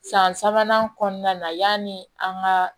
San sabanan kɔnɔna na yanni an ka